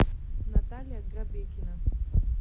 наталья грабекина